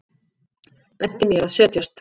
Benti mér að setjast.